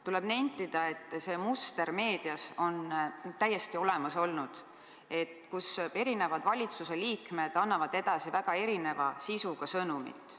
Tuleb nentida, et see muster meedias on täiesti olemas olnud: valitsuse eri liikmed annavad edasi väga erineva sisuga sõnumit.